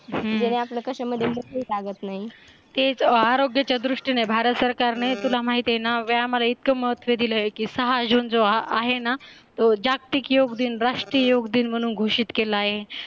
हम्म ज्याने आपला कशामध्ये मन लागत नाही तेच आरोग्याच्या दृष्टीने भारत सरकारने तुला माहितीये ना व्यायामाला इतकं महत्व दिले की सहा जून जो आहे ना तो जागतिक योग दिन राष्ट्रीय योग दिन म्हणून घोषित केला आहे हम्म